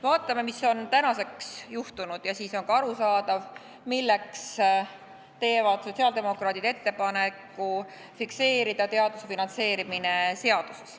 Vaatame, mis on tänaseks juhtunud, ja siis on ka arusaadav, miks teevad sotsiaaldemokraadid ettepaneku fikseerida teaduse finantseerimine seaduses.